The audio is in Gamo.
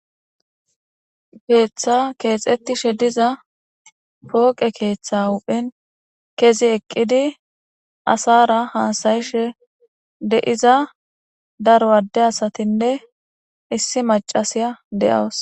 Keeththa keexettishe diza pooqe keeththa huphen kezi eqqidi asara hasayishe de'iza daro adde asatinne issi macasiya de'awus